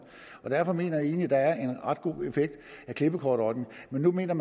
og derfor mener jeg egentlig der er ret god effekt af klippekortordningen men nu mener